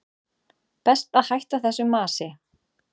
Best að hætta þessu masi.